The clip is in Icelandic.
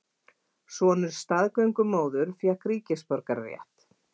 Sonur staðgöngumóður fékk ríkisborgararétt